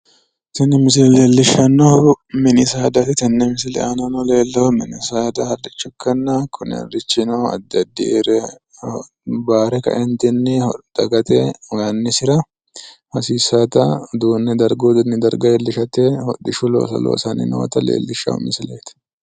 Tini misile leellishshannohu mini saadaati. Tenne misile aana leellahu mini saada harricho ikkanna kuni harrichino addi addire bayire kaeentinni dagate woyi annisira hasiissaata uduunne darguyi darga iilishate hodhishshu looso loonsanni noota leellishshanno misileeti.